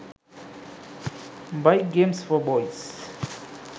bike games for boys